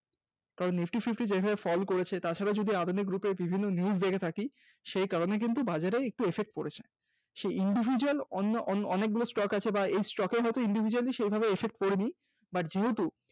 Nifty fifty তে যেভাবে Fall করেছ তার সঙ্গে যদি আধুনিক Group এ বিভিন্ন News দেখে থাকি সেই কারণে কিন্তু বাজারে একটু Effect পড়েছে, সেই individual অন্য অনেকগুলো stock আছে বা এই stock এর হয়তো individually সেইভাবে effect পড়েনি বা যেহেতু